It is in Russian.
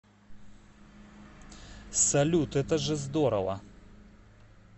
салют это же здорово